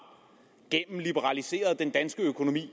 gennemliberaliseret den danske økonomi